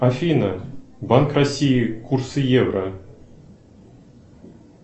афина банк россии курсы евро